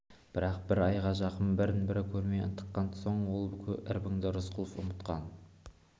бірақ бір айға жақын бірін-бірі көрмей ынтыққан соң ол кірбіңді рысқұлов ұмытқан